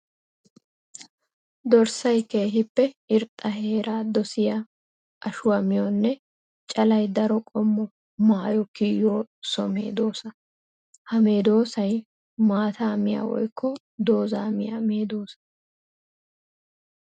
Dorssay keehippe irxxa heera dosiya ashuwa miyoonne callay daro qommo maayo kiyiyo so medosa. Ha medosay maata miya woykko dooza miya medosa.